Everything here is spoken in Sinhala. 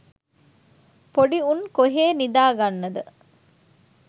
පොඩි උන් කොහේ නිදාගන්නද